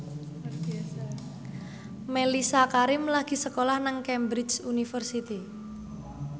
Mellisa Karim lagi sekolah nang Cambridge University